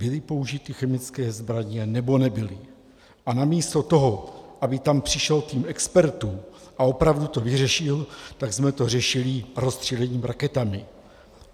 Byly použity chemické zbraně, nebo nebyly, a na místo toho, aby tam přišel tým expertů a opravdu to vyřešil, tak jsme to řešili rozstřílením raketami.